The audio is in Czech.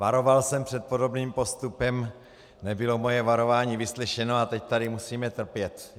Varoval jsem před podobným postupem, nebylo moje varování vyslyšeno a teď tady musíme trpět.